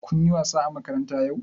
Kun yi wasa a makaranta yau?